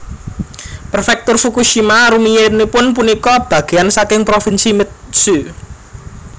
Prefektur Fukushima rumiyinipun punika bagéyan saking Provinsi Mutsu